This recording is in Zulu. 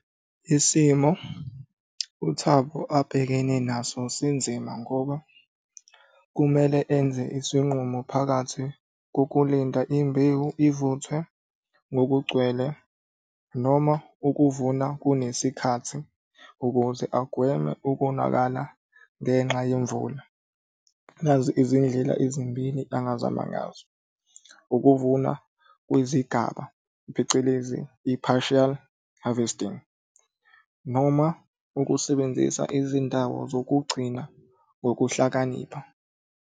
Isimo uThabo abhekene naso sinzima ngoba kumele enze isinqumo phakathi kokulinda imbewu ivuthwe ngokugcwele noma ukuvuna kunesikhathi ukuze agweme ukonakala ngenxa yemvula. Nazi izindlela ezimbili angazama ngazo. Ukuvuna kwezigaba phecelezi i-partial harvesting, noma ukusebenzisa izindawo zokugcina ngokuhlakanipha.